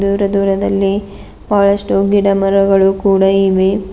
ದೂರ ದೂರದಲ್ಲಿ ಬಹಳಷ್ಟು ಗಿಡ ಮರಗಳು ಕೂಡ ಇವೆ.